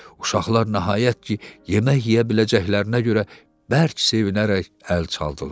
Uşaqlar nəhayət ki, yemək yeyə biləcəklərinə görə bərk sevinərək əl çaldılar.